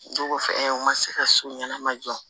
Dugu kɔfɛ ɛɛ u ma se ka so ɲanama jɔ